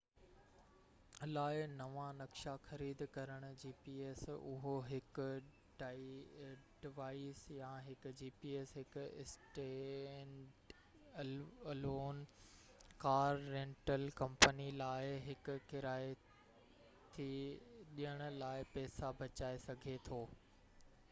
اهو هڪ gps لاءِ نوان نقشا خريد ڪرڻ هڪ اسٽينڊ الون gps ڊوائيس يا هڪ ڪار رينٽل ڪمپني لاءِ هڪ ڪرايي تي ڏيڻ لاءِ پئسا بچائي سگهي ٿو